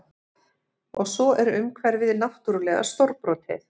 Og svo er umhverfið náttúrlega stórbrotið